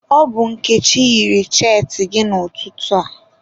Ọ bụ Nkechi yiri cheetị gị n'ụtụtụ a.